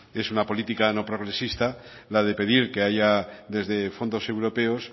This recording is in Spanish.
es una política no progresista la de pedir que haya desde fondos europeos